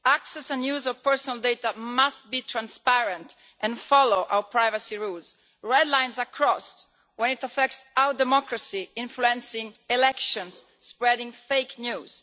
Access to and use of personal data must be transparent and follow our privacy rules. Red lines are crossed when it affects our democracy, influencing elections and spreading fake news.